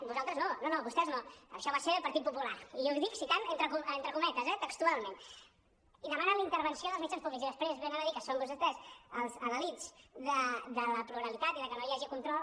vosaltres no no no vostès no això va ser el partit popular i ho dic citant entre co·metes eh textualment i demanen la intervenció dels mitjans públics i després ve·nen a dir que són vostès els adalils de la pluralitat i de que no hi hagi control